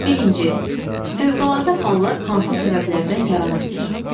Birinci, fövqəladə hallar hansı səbəblərdən yarana bilir?